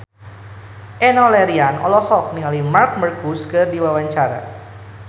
Enno Lerian olohok ningali Marc Marquez keur diwawancara